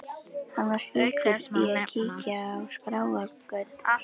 Hann var sjúkur í að kíkja á skráargöt.